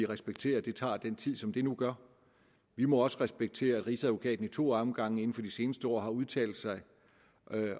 respektere at det tager den tid som det nu gør vi må også respektere at rigsadvokaten i to omgange inden for de seneste år har udtalt sig